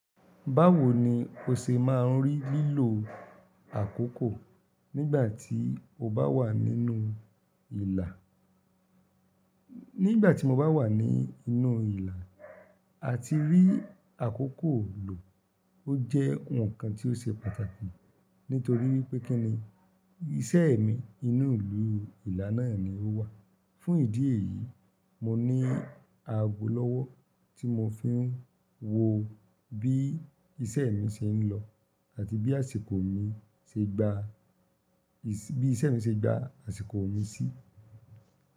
Báwo ni o ṣe máa ń rí lílo àkókò nígbà tí o bá wà nínú ìlà? Nígbà tí mo bá wà ní inú ìlà, àti rí àkókò lò ó jẹ́ ǹkan tí ó ṣe pàtàkì, nítorí wípé kí ni iṣẹ́ mi inú ìlú ìlà náà ni ó wà. Fún ìdí èyí, mo ní ago lọ́wọ́ tí mo fi ń wo bí iṣẹ́ mi ṣe ń lọ àti bí àsìkò mi ṣe gba, bí iṣẹ́ mi ṣe gba àsìkò mi sí.